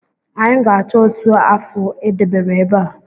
Anyị ga-achọ otu afụ e debere ebe a